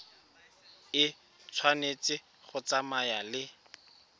e tshwanetse go tsamaya le